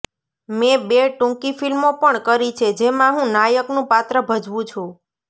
મેં બે ટૂંકી ફિલ્મો પણ કરી છે જેમાં હું નાયકનું પાત્ર ભજવું છું